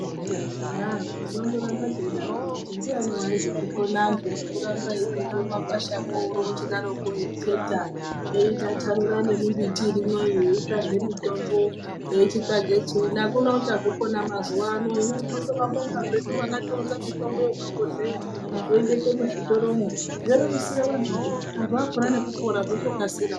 Aah tinondoramba tichidatokwo kuti ndiyani waizozvikona antu zvekuramba veichindopinda mumakwashamwo weichiteta weitstanura nembiti irimwoyo mweitsvage mitombo, weichage chiini. Akuna uchazvikona mazuwa ano. Tinondobinga vakaunza mitombo yekufafazeya wrindoende muzvitoromwo zvorerusire antu peya. Nekupora zvotokasira.